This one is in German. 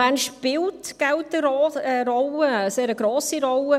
Bern spielt Geld eine Rolle, eine sehr grosse Rolle.